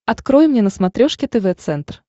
открой мне на смотрешке тв центр